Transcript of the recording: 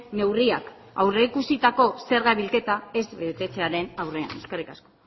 neurriak aurreikusitako zerga bilketa ez betetzearen aurrean eskerrik asko